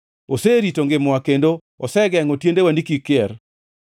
oserito ngimawa kendo osegengʼo tiendewa ni kik kier.